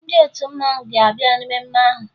Ndị otu mmanwụ ga-abịa mmemme ahụ